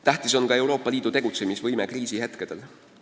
Tähtis on ka Euroopa Liidu tegutsemisvõime kriisihetkedel.